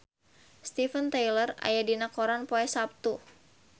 Steven Tyler aya dina koran poe Saptu